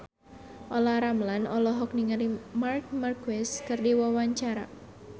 Olla Ramlan olohok ningali Marc Marquez keur diwawancara